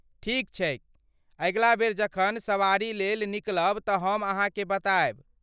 ठीक छैक, अगिला बेर जखन सवारीलेल निकलब तँ हम अहाँकेँ बतायब।